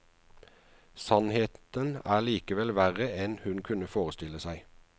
Sannheten er likevel verre enn hun kunne forestille seg.